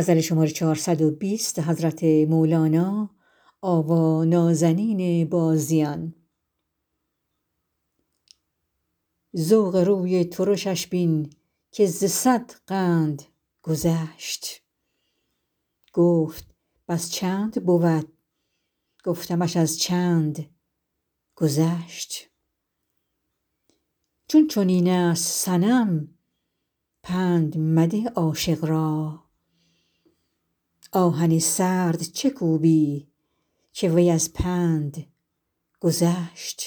ذوق روی ترشش بین که ز صد قند گذشت گفت بس چند بود گفتمش از چند گذشت چون چنین است صنم پند مده عاشق را آهن سرد چه کوبی که وی از پند گذشت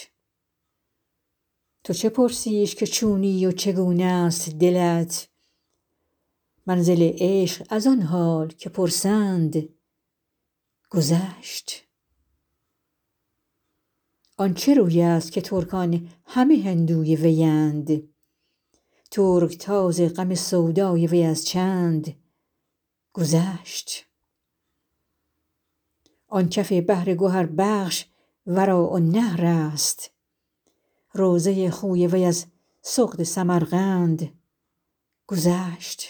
تو چه پرسیش که چونی و چگونه است دلت منزل عشق از آن حال که پرسند گذشت آن چه روی است که ترکان همه هندوی ویند ترک تاز غم سودای وی از چند گذشت آن کف بحر گهربخش وراء النهر است روضه خوی وی از سغد سمرقند گذشت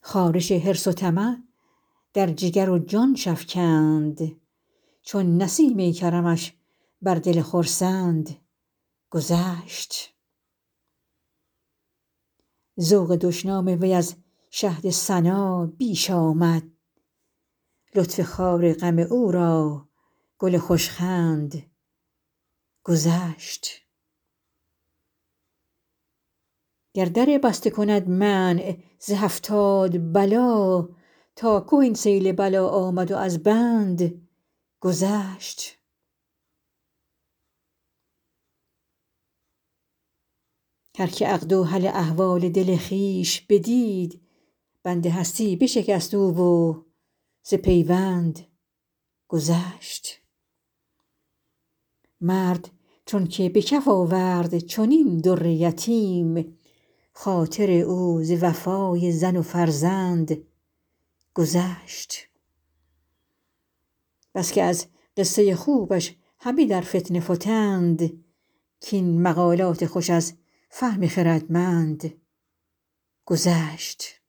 خارش حرص و طمع در جگر و جانش افکند چون نسیم کرمش بر دل خرسند گذشت ذوق دشنام وی از شهد ثنا بیش آمد لطف خار غم او را گل خوش خند گذشت گر در بسته کند منع ز هفتاد بلا تا که این سیل بلا آمد و از بند گذشت هر کی عقد و حل احوال دل خویش بدید بند هستی بشکست او و ز پیوند گذشت مرد چونک به کف آورد چنین در یتیم خاطر او ز وفای زن و فرزند گذشت بس که از قصه خوبش همه در فتنه فتند کاین مقالات خوش از فهم خردمند گذشت